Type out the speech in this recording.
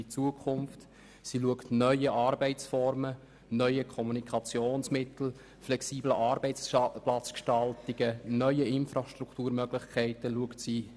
Sie richtet sich auf neue Arbeitsformen und Kommunikationsmittel sowie auf neue, flexible Arbeitsplatzgestaltungen und neue Infrastrukturmöglichkeiten aus.